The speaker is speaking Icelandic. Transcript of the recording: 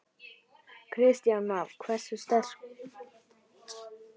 Kristján Már: Hversu sterkt?